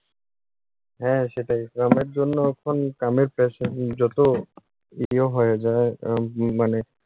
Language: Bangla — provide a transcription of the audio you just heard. হ্যাঁ, সেটাই। কামের জন্য এখন কামের pressure যত ইয়ে হয়ে যায় মানে